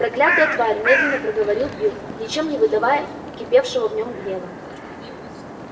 проклятая тварь медленно проговорил билл ничем не выдавая кипевшего в нем гнева